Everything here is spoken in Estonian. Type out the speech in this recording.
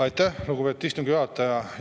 Aitäh, lugupeetud istungi juhataja!